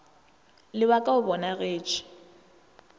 le wa ka o bonagetše